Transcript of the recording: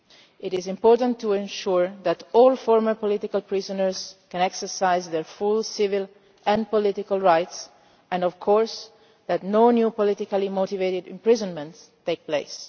It is important to ensure that all former political prisoners can exercise their full civil and political rights and, of course, that no new politically motivated imprisonments take place.